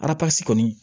Arasi kɔni